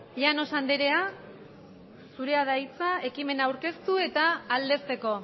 llanos anderea zurea da hitza ekimena aurkeztu eta aldezteko